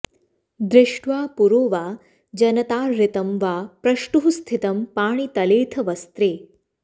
दृष्ट्वा पुरो वा जनताहृतं वा प्रष्टुः स्थितं पाणितलेऽथ वस्त्रे